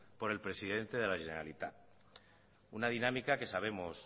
por el presidente de la generalitat una dinámica que sabemos